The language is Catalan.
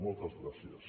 moltes gràcies